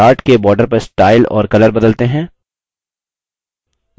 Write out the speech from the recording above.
chart के border का style और color बदलते हैं